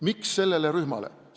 Miks sellele rühmale?